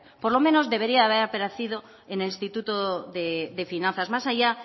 por lo menos debería de haber aparecido en el instituto de finanzas más allá